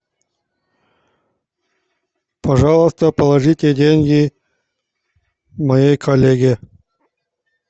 пожалуйста положите деньги моей коллеге